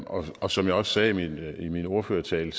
og som jeg også sagde i min ordførertale